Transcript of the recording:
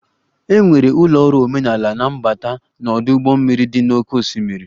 E nwere ụlọ ọrụ omenala na mbata na ọdụ ụgbọ mmiri dị n'oké osimiri.